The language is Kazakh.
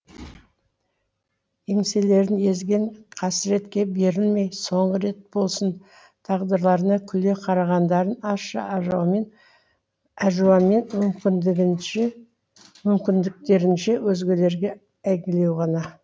еңселерін езген қасіретке берілмей соңғы рет болсын тағдырларына күле қарағандарын ащы әжуамен мүмкіндіктерінше өзгелерге әйгілеу ғана